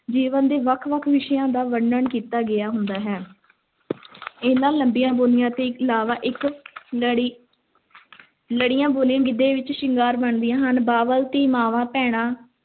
ਜੀਵਨ ਦੇ ਵੱਖ-ਵੱਖ ਵਿਸ਼ਿਆਂ ਦਾ ਵਰਨਣ ਕੀਤਾ ਗਿਆ ਹੁੰਦਾ ਹੈ ਇਹਨਾਂ ਲੰਮੀਆਂ ਬੋਲੀਆਂ ਤੋਂ ਇਲਾਵਾ ਇੱਕ ਲੜੀ ਲੜੀਆਂ ਬੋਲੀਆਂ ਗਿੱਧੇ ਵਿੱਚ ਸ਼ਿੰਗਾਰ ਬਣਦੀਆਂ ਹਨ, ਬਾਬਲ, ਧੀ, ਮਾਂਵਾਂ, ਭੈਣਾਂ,